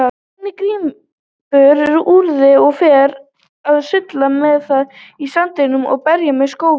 Barnið grípur úrið og fer að sulla með það í sandinum og berja með skóflu.